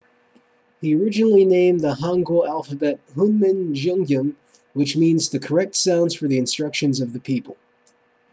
he originally named the hangeul alphabet hunmin jeongeum which means the correct sounds for the instruction of the people